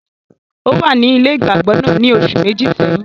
Ò wà ní ilé ìgbàgbọ náà ní oṣù Méjì sẹ́yìn